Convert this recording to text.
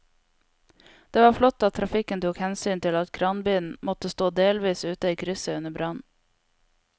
Det var flott at trafikken tok hensyn til at kranbilen måtte stå delvis ute i krysset under brannen.